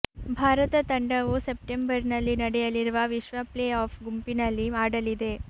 ಭಾರತ ತಂಡವು ಸೆಪ್ಟೆಂಬರ್ನಲ್ಲಿ ನಡೆಯಲಿರುವ ವಿಶ್ವ ಪ್ಲೇ ಆಫ್ ಗುಂಪಿನಲ್ಲಿ ಆಡಲಿದೆ